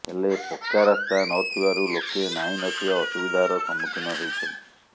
ହେଲେ ପକ୍କା ରାସ୍ତା ନଥିବାରୁ ଲୋକେ ନାହିଁ ନଥିବା ଅସୁବିଧାର ସମ୍ମୁଖୀନ ହେଉଛନ୍ତି